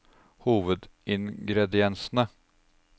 hovedingrediensene